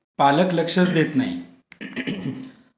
पालक लक्षच देत नाहीत. ing